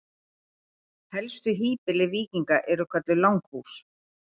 Elstu híbýli víkinga eru kölluð langhús.